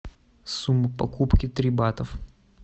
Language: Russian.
сумма покупки три батов